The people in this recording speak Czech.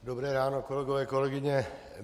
Dobré ráno, kolegové, kolegyně.